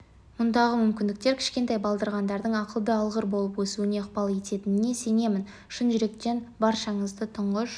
мұндағы мүмкіндіктер кішкентай балдырғандардың ақылды алғыр болып өсуіне ықпал ететініне сенемін шын жүректен баршаңызды тұңғыш